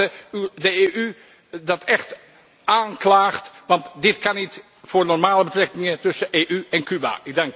Ik hoop dat de EU dat echt aanklaagt, want dit kan niet voor normale betrekkingen tussen de EU en Cuba.